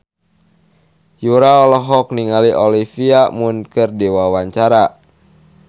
Yura olohok ningali Olivia Munn keur diwawancara